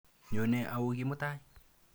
Nyone auyo Kimutai?